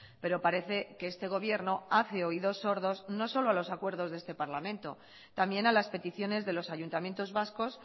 pero parece que este gobierno hace oídos sordos no solo a los acuerdos de este parlamento también a las peticiones de los ayuntamientos vascos